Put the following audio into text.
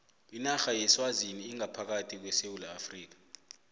inarha yeswazini ingaphakathi kwesewula afrika